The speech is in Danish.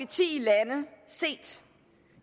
ti lande set